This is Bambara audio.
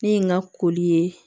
Min ka koli ye